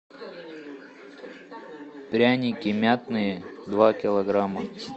пряники мятные два килограмма